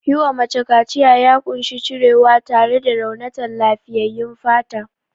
Yiwa mace kaciya ya ƙunshi cirewa tare da raunata lafiyyayyun fata.